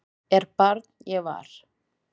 er barn ég var